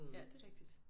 Ja det rigtigt